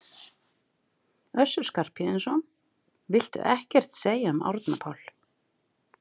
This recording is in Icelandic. Össur Skarphéðinsson: Viltu ekkert segja um Árna Pál?